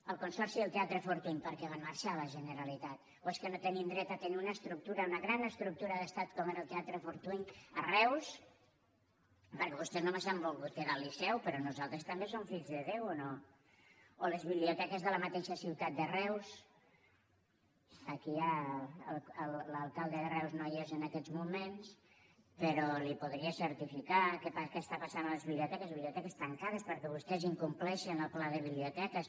el consorci del teatre fortuny per què va marxar la generalitat o és que no tenim dret a tenir una estructura una gran estructura d’estat com era el teatre fortuny a reus perquè vostès només s’han volgut quedar el liceu però nosaltres també som fills de déu o no o les biblioteques de la mateixa ciutat de reus l’alcalde de reus no hi és en aquests moments però li podria certificar què està passant a les biblioteques biblioteques tancades perquè vostès incompleixen el pla de biblioteques